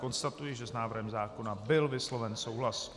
Konstatuji, že s návrhem zákona byl vysloven souhlas.